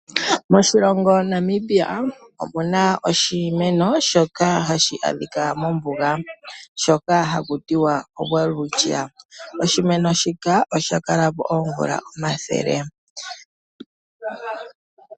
Moshilongo Namibia omu na oshimeno shoka hashi adhika mombuga, shoka haku tiwa o Welwitchia. Oshimeno shika osha kala po oomvula omathele.